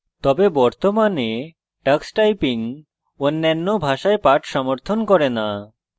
তবে বর্তমানে tux typing অন্যান্য ভাষায় পাঠ সমর্থন করে না